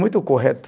Muito correto.